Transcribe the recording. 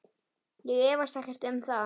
Ég efast ekkert um það.